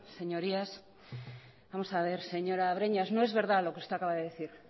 señorías vamos a ver señora breñas no es verdad lo que usted acaba de decir